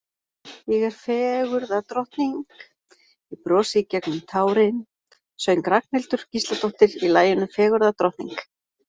Ég er fegurðardrottning, ég brosi í gegnum tárin söng Ragnhildur Gísladóttir í laginu Fegurðardrottning.